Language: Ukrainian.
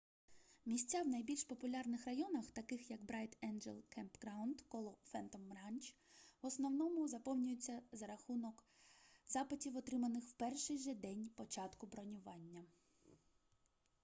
місця в найбільш популярних районах таких як брайт енджел кемпграунд коло фентом ранч в основному заповнюються за разунок запитів отриманих в перший же день початку бронювання